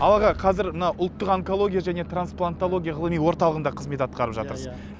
ал аға қазір мына ұлттық онкология және трансплантология ғылыми орталығында қызмет атқарып жатырсыз иә